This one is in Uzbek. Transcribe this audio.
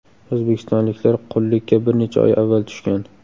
O‘zbekistonliklar qullikka bir necha oy avval tushgan.